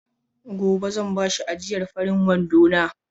Gobe zan bashi ajiyar farin wandona.